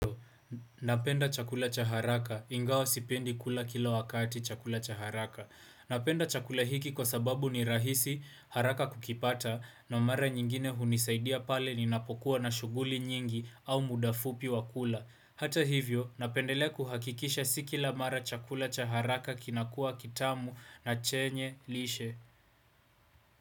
Napenda chakula cha haraka ingawa sipendi kula kila wakati chakula cha haraka. Napenda chakula hiki kwa sababu ni rahisi haraka kukipata na mara nyingine hunisaidia pale ninapokuwa na shughuli nyingi au muda fupi wa kula. Hata hivyo, napendelea kuhakikisha si kila mara chakula cha haraka kinakua kitamu na chenye lishe.